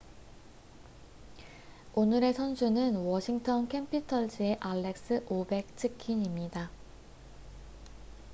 오늘의 선수는 워싱턴 캐피털즈의 알렉스 오베츠킨입니다